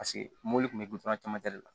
Paseke mobili kun bɛ gilan camancɛ de la